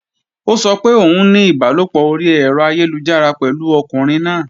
Ó sọ pé òun ní ìbálòpọ̀ orí ẹ̀rọ ayélujára pẹ̀lú ọkùnrin náà